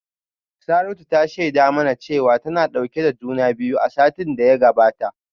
Saratu ta shaida mana cewa tana dauke da juna biyu a satin da ya gabata